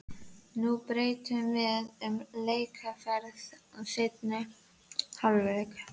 Nú breytum við um leikaðferð í seinni hálfleik.